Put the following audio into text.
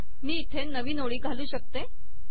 मी इथे नवीन ओळी घालू शकते